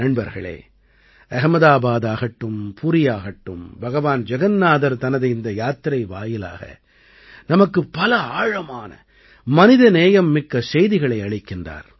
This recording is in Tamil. நண்பர்களே அஹ்மதாபாதாகட்டும் புரியாகட்டும் பகவான் ஜகன்னாதர் தனது இந்த யாத்திரை வாயிலாக நமக்குப் பல ஆழமான மனிதநேயம் மிக்க செய்திகளை அளிக்கிறார்